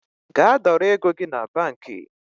Gaa dọrọ ego gi na banki